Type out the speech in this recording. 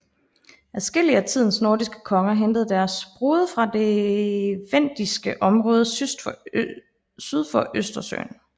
Adskillige af tidens nordiske konger hentede deres brude fra det vendiske område syd for Østersøen